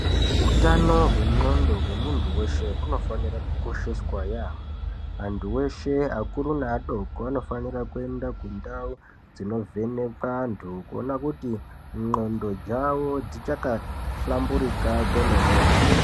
Utano hwen'ondo hwemunhu weshe hunofanira kukosheswa yeyamho, munhu weshe akuru neadoko anofanira kuenda kundau dzinovhenekwa antu kuona kuti n'ondo dzavo dzichakahlamburika kwemene ere.